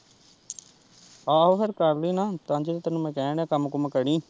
ਆਹੋ ਫੇਰ ਕਰ ਲਈ ਨਾ ਤਾਂਹੀ ਤਾਂ ਮੈਂ ਤੈਨੂੰ ਕਹਿਣ ਦਿਆਂ ਕੰਮ-ਕੂਮ ਕਰੀ।